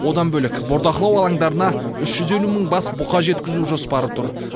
одан бөлек бордақылау алаңдарына үш жүз елу мың бас бұқа жеткізу жоспары тұр